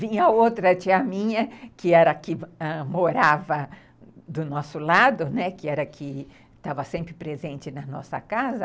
Vinha outra tia minha, que era a que ãh morava do nosso lado, né, que era a que estava sempre presente na nossa casa.